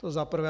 To za prvé.